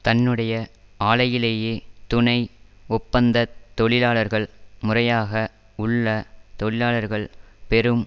தன்னுடைய ஆலையிலேயே துணை ஒப்பந்தத் தொழிலாளர்கள் முறையாக உள்ள தொழிலாளர்கள் பெறும்